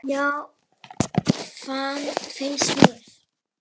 Já, það finnst mér.